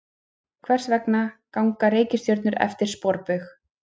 Hvers vegna ganga reikistjörnur eftir sporbaug?